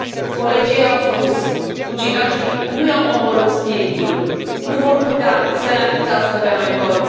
Colegii ei au spus ucigașii nu i au omorât spiritul, nu vor putea să ne amuțească pe noi toți!